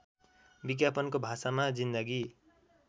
विज्ञापनको भाषामा जिन्दगी